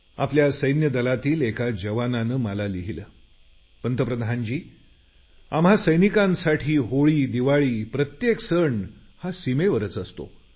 आपल्या सैन्य दलातील एका जवानाने मला लिहिलं पंतप्रधानजी आम्हा सैनिकांचा होळी दिवाळी प्रत्येक सण हा सीमेवरच असतो